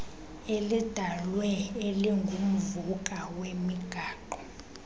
elidalwe elingumvuka wemigaqo